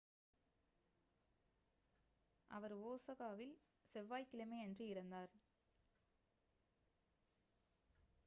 அவர் ஒசாகாவில் செவ்வாய் கிழமையன்று இறந்தார்